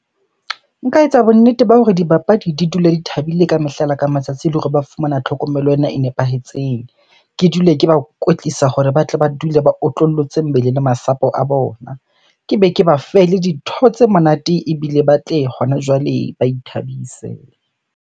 Nka etsa bonnete ba hore dibapadi di dula di thabile ka mehla le ka matsatsi, le hore ba fumana tlhokomelo ena e nepahetseng. Ke dule ke ba kwetlisa hore batle ba dule ba otlollotse mmele le masapo a bona. Kebe ke ba fe le dintho tse monate ebile ba tle hona jwale ba ithabise.